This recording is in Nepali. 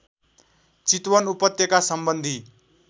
चितवन उपत्यका सम्बन्धी